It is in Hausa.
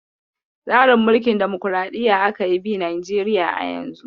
Tsarin Mulkin damukuraɗiyya aka yi bi Najeriya a yanzu.